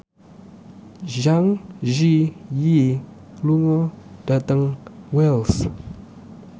Zang Zi Yi lunga dhateng Wells